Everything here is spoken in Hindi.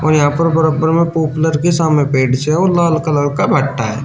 यहां पर बरब्बर में पॉपुलर के है और लाल कलर का भट्ठा है।